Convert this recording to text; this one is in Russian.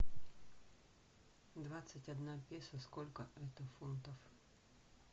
двадцать одна песо сколько это фунтов